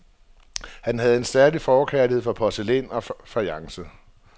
Han havde en særlig forkærlighed for porcelæn og fajance.